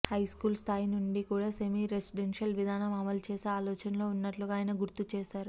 high school స్థాయి నుండి కూడా సెమీ రెసిడెన్షియల్ విధానం అమలు చేసే ఆలోచనలో ఉన్నట్లుగా ఆయన గుర్తు చేశారు